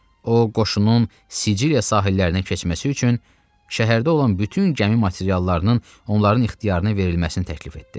O, qoşunun Siciliya sahillərinə keçməsi üçün şəhərdə olan bütün gəmi materiallarının onların ixtiyarına verilməsini təklif etdi.